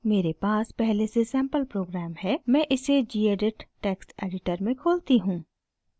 मेरे पास पहले से सैंपल प्रोग्राम है मैं इसे gedit टेक्स्ट एडिटर में खोलती हूँ